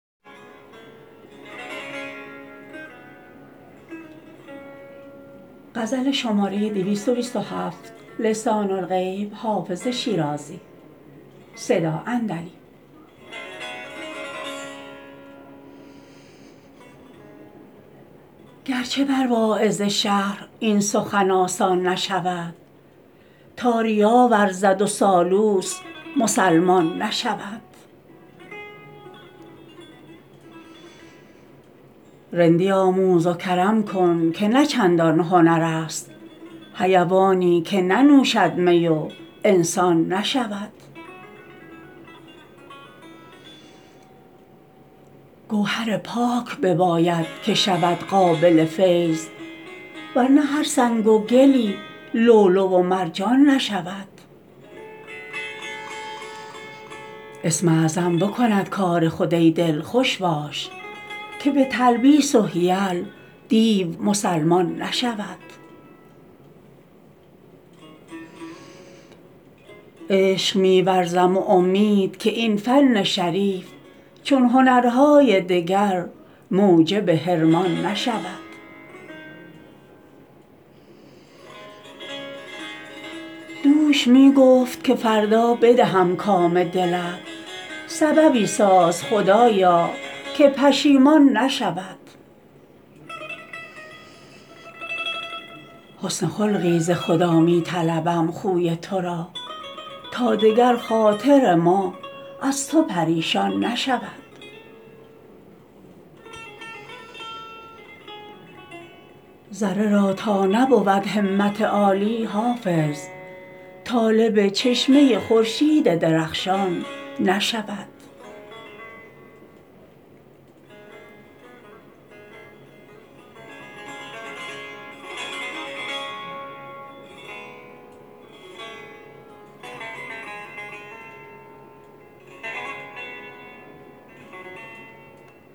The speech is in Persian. گر چه بر واعظ شهر این سخن آسان نشود تا ریا ورزد و سالوس مسلمان نشود رندی آموز و کرم کن که نه چندان هنر است حیوانی که ننوشد می و انسان نشود گوهر پاک بباید که شود قابل فیض ور نه هر سنگ و گلی لؤلؤ و مرجان نشود اسم اعظم بکند کار خود ای دل خوش باش که به تلبیس و حیل دیو مسلمان نشود عشق می ورزم و امید که این فن شریف چون هنرهای دگر موجب حرمان نشود دوش می گفت که فردا بدهم کام دلت سببی ساز خدایا که پشیمان نشود حسن خلقی ز خدا می طلبم خوی تو را تا دگر خاطر ما از تو پریشان نشود ذره را تا نبود همت عالی حافظ طالب چشمه خورشید درخشان نشود